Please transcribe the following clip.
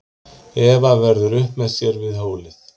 Eva verður upp með sér við hólið.